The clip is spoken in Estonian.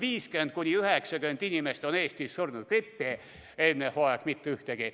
Eestis on tavaliselt 50–90 inimest grippi surnud, eelmine hooaeg mitte ühtegi.